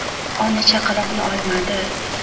Ona chaqaloqni olmadi.